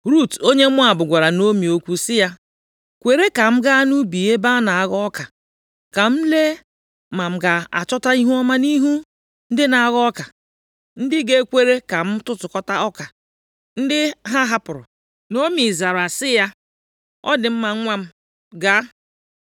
Rut onye Moab, gwara Naomi okwu sị ya, “Kwere ka m gaa nʼubi ebe a na-aghọ ọka, ka m lee ma m ga-achọta ihuọma nʼihu ndị na-aghọ ọka, ndị ga-ekwere ka m tụtụkọta ọka + 2:2 Ị tụtụkọta ọka ndị a hapụrụ mgbe a na-ewe ihe ubi, bụ oke ndị inyom di ha nwụrụ anwụ, na ụmụ mgbei na ndị ọbịa. \+xt Lev 19:9; Dit 24:19\+xt* ndị ha hapụrụ.” Naomi zara sị ya, “Ọ dị mma nwa m, gaa.”